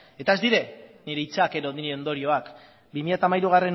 eta ez dira nire hitzak edo nire ondorioak bi mila hamairugarrena